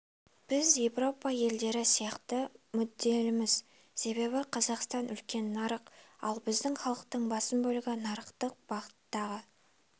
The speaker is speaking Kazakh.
біз еуропа елдері сияқты мүдделіміз себебі қазақстан үлкен нарық ал біздің халықтың басым бөлігі нарықтық бағыттағы